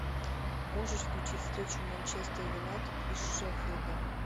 можешь включить встречу манчестер юнайтед и шеффилда